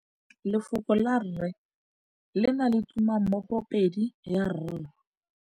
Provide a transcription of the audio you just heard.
Lefoko la rre, le na le tumammogôpedi ya, r.